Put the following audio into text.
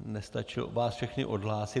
nestačil vás všechny odhlásit.